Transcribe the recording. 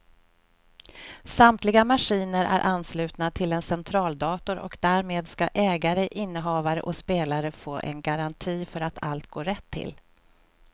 Samtliga maskiner är anslutna till en centraldator och därmed ska ägare, innehavare och spelare få en garanti för att allt går rätt till.